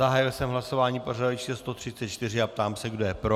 Zahájil jsem hlasování pořadové číslo 134 a ptám se, kdo je pro.